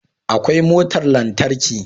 Akwai motar lantarki